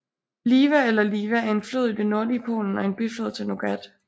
Liwa eller Liva er en flod i det nordlige Polen og en biflod til Nogat